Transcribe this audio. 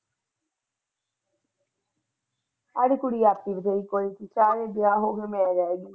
ਕੁੜੀ ਆਕੜ ਤਾਵੀ ਵਿਆਹ ਹੋ ਗਿਆ ਮੈਂ ਰਹਿ ਗਈ।